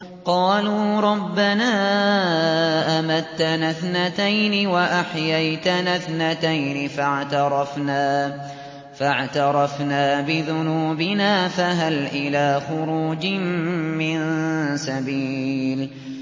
قَالُوا رَبَّنَا أَمَتَّنَا اثْنَتَيْنِ وَأَحْيَيْتَنَا اثْنَتَيْنِ فَاعْتَرَفْنَا بِذُنُوبِنَا فَهَلْ إِلَىٰ خُرُوجٍ مِّن سَبِيلٍ